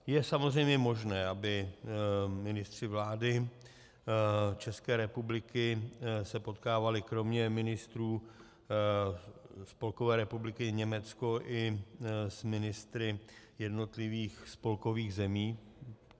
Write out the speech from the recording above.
Je samozřejmě možné, aby ministři vlády České republiky se potkávali kromě ministrů Spolkové republiky Německo i s ministry jednotlivých spolkových zemí.